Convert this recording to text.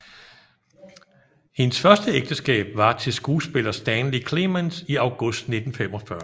Hendes første ægteskab var til skuespiller Stanley Clements i august 1945